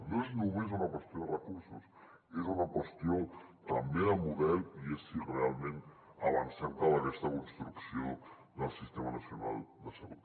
no és només una qüestió de recursos és una qüestió també de model i és si realment avancem cap a aquesta construcció del sistema nacional de salut